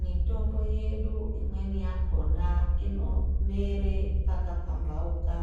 Mitombo yedu imweni yakhona inomere pakapamhauka.